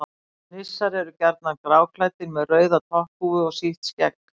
nissar eru gjarnan gráklæddir með rauða topphúfu og sítt skegg